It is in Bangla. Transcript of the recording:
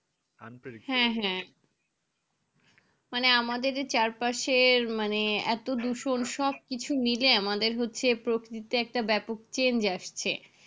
হ্যাঁ হ্যাঁ মানে আমাদের এই চারপাশের মানে এত দূষণ সবকিছু মিলে আমাদের হচ্ছে প্রকৃতিতে একটা ব্যাপক change আসছে